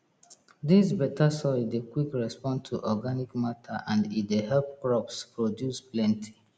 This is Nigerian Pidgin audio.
dis beta soil dey quick respond to organic matter and e dey help crops produce plenty